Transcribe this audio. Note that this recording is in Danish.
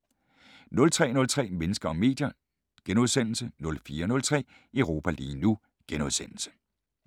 03:03: Mennesker og medier * 04:03: Europa lige nu *